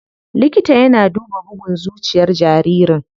Likita yana duba bugun zuciyar jaririn.